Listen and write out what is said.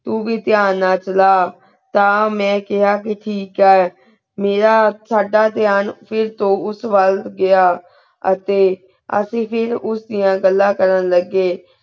ਤੂ ਵੀ ਥ੍ਯਾਨ ਨਾਲ ਚਲਾ ਤਾ ਮੈਂ ਕ੍ਯਾ ਕੇ ਟਾਕ ਆ ਮੀਰਾ ਸਦਾ plan ਫਿਰ ਤੋ ਉਸ ਵਾਲ ਗਿਆ ਆ ਤੇ ਅਸੀਂ ਫਿਰ ਉਸ ਦਿਯਾ ਗੱਲਾ ਕਰਨ ਲਗੀ